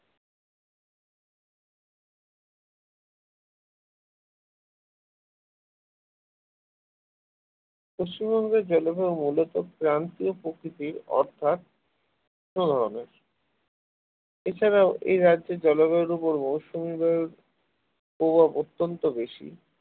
পশ্চিমবঙ্গের জলবায়ু মূলত ক্রান্তীয় প্রকৃতির অর্থাৎ এছাড়াও এ রাজ্যের জলবায়ুর উপর মৌসুমী বায়ুর প্রভাব অত্যন্ত বেশি